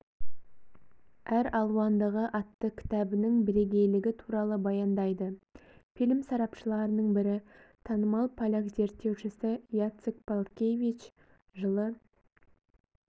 әралуандығы атты кітабының бірейгейлігі туралы баяндайды фильм сарапшыларының бірі танымал поляк зерттеушісі яцек палкевич жылы